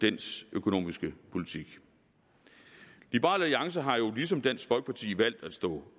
dens økonomiske politik liberal alliance har jo ligesom dansk folkeparti valgt at stå